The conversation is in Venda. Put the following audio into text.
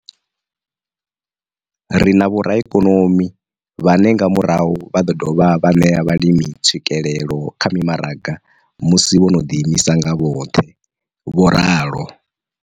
Ri na vhoraikonomi vhane nga murahu vha ḓo dovha vha ṋea vhalimi tswikelelo kha mimaraga musi vho no ḓiimisa nga vhoṱhe, vho ralo.